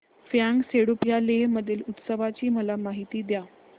फ्यांग सेडुप या लेह मधील उत्सवाची मला माहिती द्या